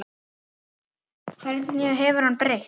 Hverju hefur hann breytt?